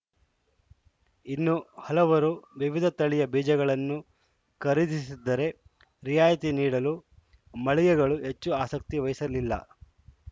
ಇನ್ನು ಹಲವರು ವಿವಿಧ ತಳಿಯ ಬೀಜಗಳನ್ನು ಖರೀದಿಸಿದ್ದರೆ ರಿಯಾಯಿತಿ ನೀಡಲು ಮಳಿಗೆಗಳು ಹೆಚ್ಚು ಆಸಕ್ತಿ ವಹಿಸಲಿಲ್ಲ